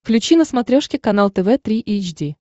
включи на смотрешке канал тв три эйч ди